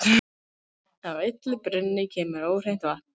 Af illum brunni kemur óhreint vatn.